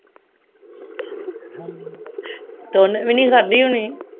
ਹਮ ਤੇ ਓਹਨੇ ਵੀ ਨਹੀਂ ਖਾਦੀ ਹੋਣੀ